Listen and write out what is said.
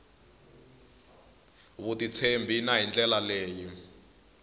vutitshembi na hi ndlela leyi